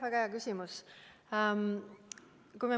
Väga hea küsimus!